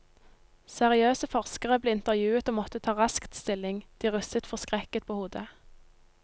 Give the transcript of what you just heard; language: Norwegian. Seriøse forskere ble intervjuet og måtte ta raskt stilling, de rystet forskrekket på hodet.